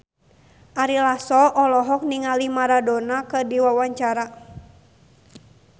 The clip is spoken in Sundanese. Ari Lasso olohok ningali Maradona keur diwawancara